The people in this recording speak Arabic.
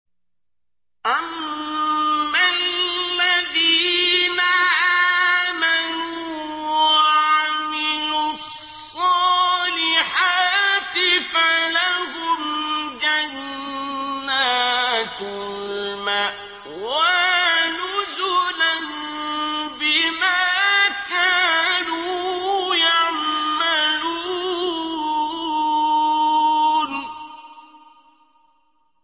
أَمَّا الَّذِينَ آمَنُوا وَعَمِلُوا الصَّالِحَاتِ فَلَهُمْ جَنَّاتُ الْمَأْوَىٰ نُزُلًا بِمَا كَانُوا يَعْمَلُونَ